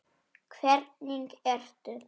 Hvernig ertu??